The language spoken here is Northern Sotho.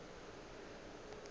yona e be e le